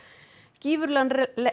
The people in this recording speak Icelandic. gífurlegan